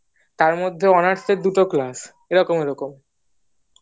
তার মধ্যে honours এর দুটো ক্লাস এরকম এরকম